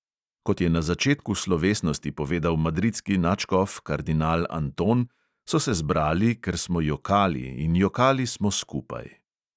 Kot je na začetku slovesnosti povedal madridski nadškof kardinal anton, so se zbrali, ker smo jokali, in jokali smo skupaj.